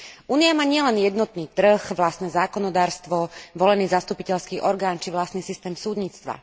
Únia má nielen jednotný trh, vlastné zákonodarstvo, volený zastupiteľský orgán či vlastný systém súdnictva.